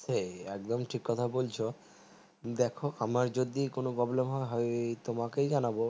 সেই একদম ঠিক কথা বলছো দেখো আমার যদি কোনো problem হয় তোমাকে জানাবো